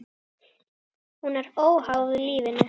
Hún er óháð lífinu.